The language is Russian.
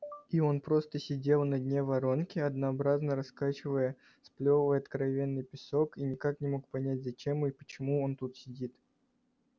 и он просто сидел на дне воронки однообразно раскачивая сплёвывал откровенный песок и никак не мог понять зачем и почему он тут сидит